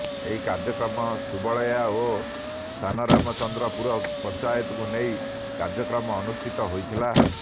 ଏହି କାର୍ଯ୍ୟକ୍ରମ ସୁବଲୟା ଓ ସାନରାମଚନ୍ଦ୍ରପୁର ପଞ୍ଚାୟତକୁ ନେଇ କାର୍ଯ୍ୟକ୍ରମ ଅନୁଷ୍ଠିତ ହୋଇଥିଲା